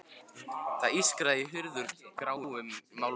Það ískraði í hurð úr gráum málmi.